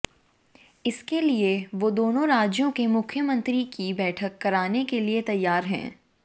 इसके लिए वो दोनों राज्यों के मुख्यमंत्री की बैठक कराने के लिए तैयार है